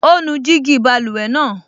Ó nu gíjí báluwẹ̀ náà